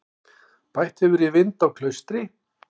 Bætt hefur í vind á Klaustri